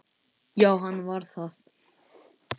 Já, hann var það.